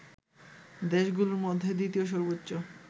দেশগুলোর মধ্যে দ্বিতীয় সর্বোচ্চ